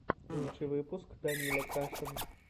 лучший выпуск данила кашин